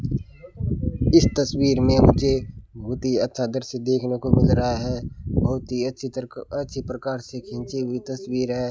इस तस्वीर में मुझे बुत ही अच्छा दृश्य देखने को मिल रहा है बहुत ही अच्छी तरक अच्छी प्रकार से खींची हुई तस्वीर है।